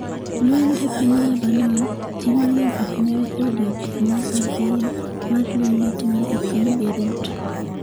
Lweny e piny Lebanon: Ji mang'eny ohinyre e odiechieng' mar ariyo mar lweny matimore e piny Beirut